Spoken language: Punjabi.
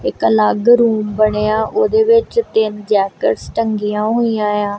ਇੱਕ ਅਲੱਗ ਰੂਮ ਬਣਿਆ ਉਹਦੇ ਵਿੱਚ ਤਿੰਨ ਜੈਕਟਸ ਟੰਗੀਆਂ ਹੋਈਆਂ ਆ।